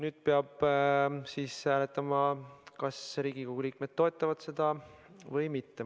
Tuleb hääletada, kas Riigikogu liikmed toetavad seda eelnõu või mitte.